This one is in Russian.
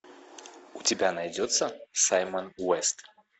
у тебя найдется саймон уэст